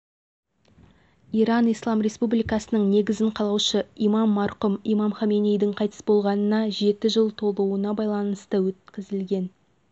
иран ислам республикасының негізін қалаушы имам марқұм имам хомейнидің қайтыс болғанына жеті жыл толуына байланысты өткізілген